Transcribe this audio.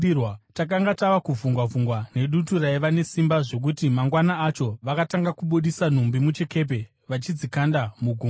Takanga tava kuvhungwa-vhungwa nedutu raiva nesimba zvokuti mangwana acho vakatanga kubudisa nhumbi muchikepe vachidzikanda mugungwa.